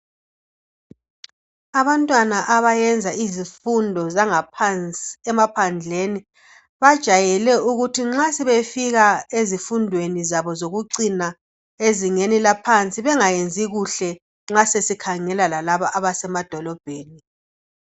Abantwana abayenza izifundo zangaphansi emaphandleni bajwayele ukuthi nxa sebefika ezifundweni zabo zokucina ezingeni laphansi bengayenzi kuhle nxa sesikhangela lalaba abasemadolobheni.